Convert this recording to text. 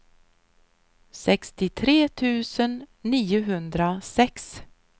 sextiotre tusen niohundrasex